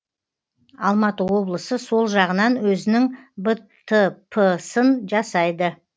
алматы облысы сол жағынан өзінің бтп сын жасайды